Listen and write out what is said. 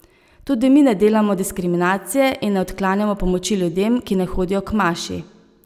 Tudi mi ne delamo diskriminacije in ne odklanjamo pomoči ljudem, ki ne hodijo k maši.